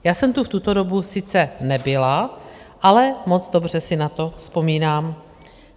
Já jsem tu v tuto dobu sice nebyla, ale moc dobře si na to vzpomínám.